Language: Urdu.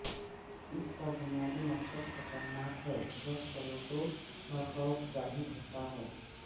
اس کا بنیادی مقصد خطرناک ہے جب پلوٹو کا خوف ظاہر ہوتا ہے